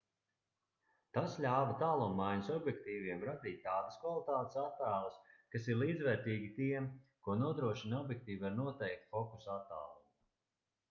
tas ļāva tālummaiņas objektīviem radīt tādas kvalitātes attēlus kas ir līdzvērtīgi tiem ko nodrošina objektīvi ar noteiktu fokusa attālumu